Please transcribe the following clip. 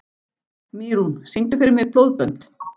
Mýrún, syngdu fyrir mig „Blóðbönd“.